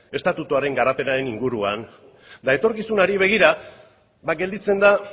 estatuaren garapenaren inguruan eta etorkizunari begira ba gelditzen da